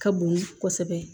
Ka bon kosɛbɛ